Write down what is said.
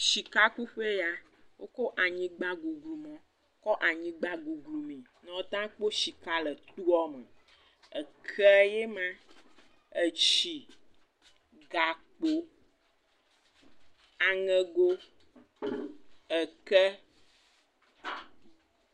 Shikakuƒee ya. Wokɔ anyigbguglumɔ kɔ anyigba guglumee ne woata kpɔ shika le toa me. Ekee ye ma, etsi, gakpo, aŋɛgo, ɛkɛ.